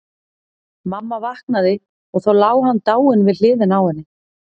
Mamma vaknaði og þá lá hann dáinn við hliðina á henni.